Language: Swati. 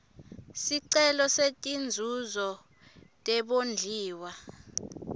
sicelo setinzuzo tebondliwa